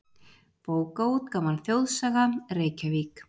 Bókaútgáfan Þjóðsaga, Reykjavík.